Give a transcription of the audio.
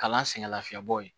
Kalan sɛgɛn lafiyabɔ ye